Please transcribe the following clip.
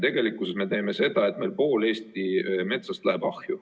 Tegelikkuses me teeme seda, et pool Eesti metsast läheb ahju.